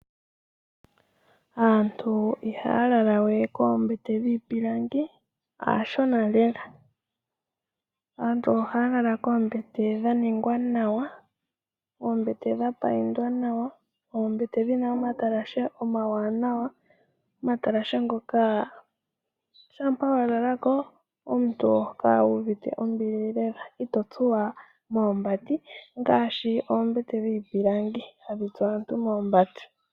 Aantu ihaya lala we koombete dhiipilangi, aashona lela. Aantu ohaya lala koombete dha ningwa nawa, oombete dha payindwa nawa, oombete dhi na omatalashe omawanawa, omatalashe ngoka shampa wa lala ko omuntu oho kala wu uvite ombili lela ito tsuwa moombati ngaashi oombete dhiipilangi hadhi tsu aantu moombati.